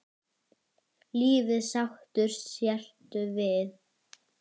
Lífið sáttur sértu við.